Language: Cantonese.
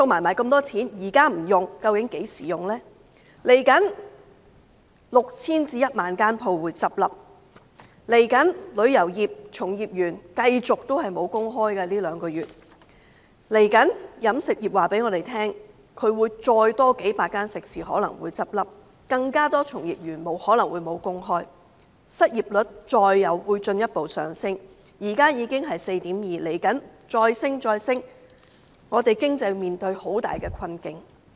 未來會有 6,000 間至 10,000 間店鋪結業；在未來兩個月，旅遊業從業員會繼續沒有工作；飲食業告訴我們，未來可能會再有數百間食肆結業，可能會有更多從業員失去工作，失業率會進一步上升，現在已是 4.2%， 未來再不斷攀升，我們的經濟會面對很大困境。